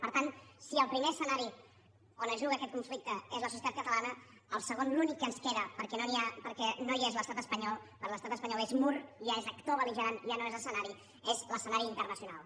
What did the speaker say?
per tant si el primer escenari on es juga aquest conflicte és la societat catalana el segon l’únic que ens queda perquè no n’hi ha perquè no hi és l’estat espanyol perquè l’estat espanyol és mur ja és actor belligerant ja no és escenari és l’escenari internacional